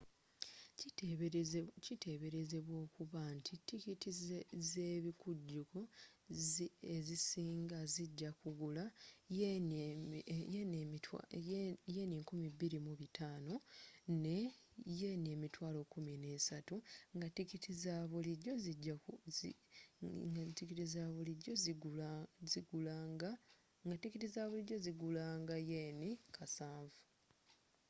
kiteberezebwa okuba nti tikiti zebikujuko ezisinga zijja kugula ¥2,500 ne ¥130,000 nga tikiti zabulijjo zigula nga ¥7,000